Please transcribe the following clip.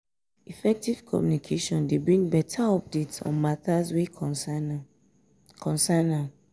effective communication dey bring better updates on matters wey concern am concern am